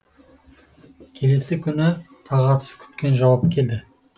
келесі күні тағатсыз күткен жауап келді